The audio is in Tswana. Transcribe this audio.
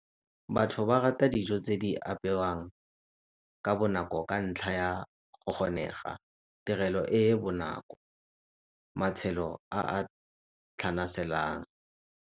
Batho ba rata dijo tse di apewang ka bonako ka ntlha ya go kgonega, tirelo e e bonako, matshelo a a tlhanaselang.